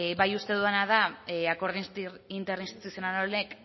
bai uste dudana da akordio interinstituzional honek